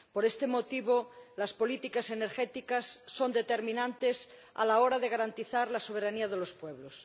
Por este motivo, las políticas energéticas son determinantes a la hora de garantizar la soberanía de los pueblos.